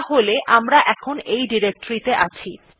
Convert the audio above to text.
তাহলে আমরা এখন এই ডিরেক্টরী ত়ে আছি